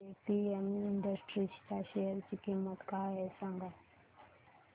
आज APM Industries च्या share ची किंमत काय आहे सांगा